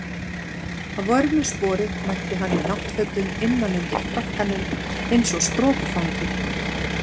Að vörmu spori mætti hann í náttfötum innan undir frakkanum eins og strokufangi.